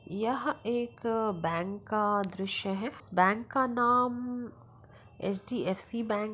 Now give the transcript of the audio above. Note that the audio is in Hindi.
यह एक बैंक का दृश्य हैं | बैंक का नाम अचडीएफसी बैंक --